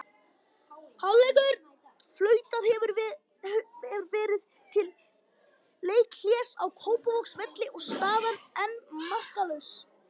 Hálfleikur: Flautað hefur verið til leikhlés á Kópavogsvelli og staðan enn markalaus.